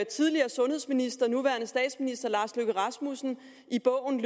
tidligere sundhedsminister nuværende statsminister herre lars løkke rasmussen i bogen